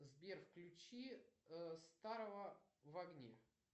сбер включи старого в огне